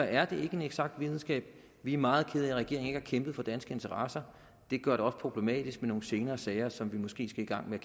er ikke en eksakt videnskab vi er meget kede af at regeringen ikke har kæmpet for danske interesser det gør det også problematisk i nogle senere sager som vi måske skal i gang med